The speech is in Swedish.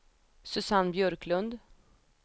Susanne Björklund